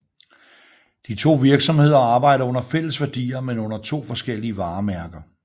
De to virksomheder arbejder under fælles værdier men under to forskellige varemærker